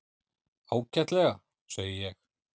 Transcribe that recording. Ágætlega, segi ég.